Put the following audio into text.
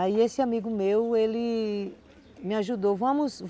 Aí esse amigo meu, ele me ajudou, vamos